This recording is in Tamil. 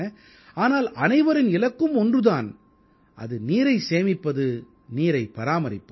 ஆனால் அனைவரின் இலக்கும் ஒன்று தான் அது நீரைச் சேமிப்பது நீரைப் பராமரிப்பது